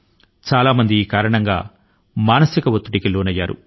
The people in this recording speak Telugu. చాలా మంది మానసిక ఒత్తిడి కి ఇదే కారణం